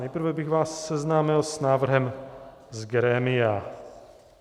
Nejprve bych vás seznámil s návrhem z grémia.